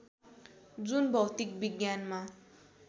जुन भौतिक विज्ञानमा